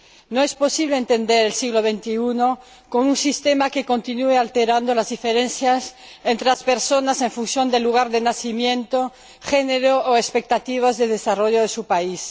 No es posible entender el siglo XXI con un sistema que continúe agravando las diferencias entre las personas en función del lugar de nacimiento, género o expectativas de desarrollo de su país.